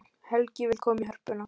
Helgi vill koma í Hörpuna